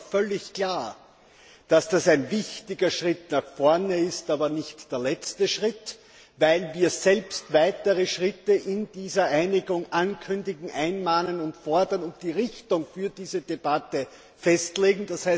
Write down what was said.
Daher ist auch völlig klar, dass das ein wichtiger Schritt nach vorne ist, aber nicht der letzte Schritt, weil wir selbst weitere Schritte in dieser Einigung ankündigen, einmahnen und fordern und die Richtung für diese Debatte festlegen.